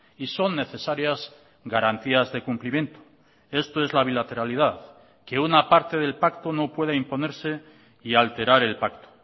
y son necesarias garantías de cumplimiento esto es la bilateralidad que una parte del pacto no pueda imponerse y alterar el pacto